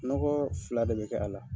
Nɔgɔ fila de be kɛ a la .